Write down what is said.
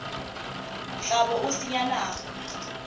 tla bo o senya nako